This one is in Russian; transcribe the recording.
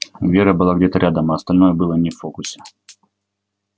вера была где-то рядом а остальное было не в фокусе